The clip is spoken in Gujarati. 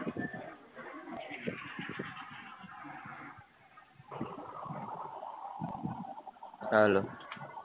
હાલો